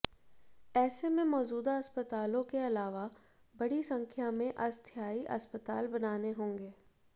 ऐसे में मौजूदा अस्पतालों के अलावा बड़ी संख्या में अस्थायी अस्पताल बनाने होंगे